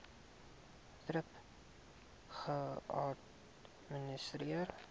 thrip geadministreer